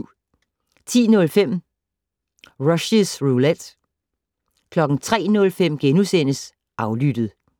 10:05: Rushys Roulette 03:05: Aflyttet *